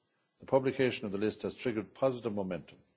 The publication of the list has triggered positive momentum.